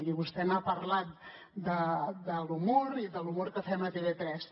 i vostè n’ha parlat de l’humor i de l’humor que fem a tv3